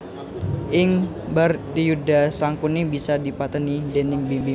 Ing Bharatayudha Sangkuni bisa dipatèni déning Bima